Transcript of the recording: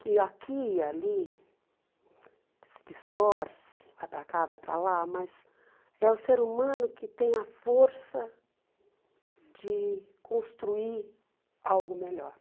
que aqui e ali se distorce, vai para cá, vai para lá, mas é o ser humano que tem a força de construir algo melhor.